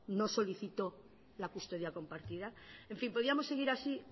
no solicitó la custodia compartida en fin podíamos seguir así